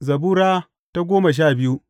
Zabura Sura goma sha biyu